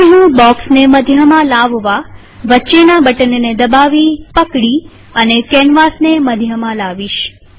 હવે હું બોક્સને મધ્યમાં લાવવાવચ્ચેના બટનને દબાવીપકડી અને કેનવાસ ને મધ્યમાં લાવીશ